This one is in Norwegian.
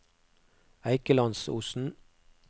Eikelandsosen